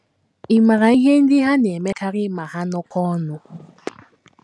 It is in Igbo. Ị̀ maara ihe ndị ha na - emekarị ma ha nọkọọ ọnụ?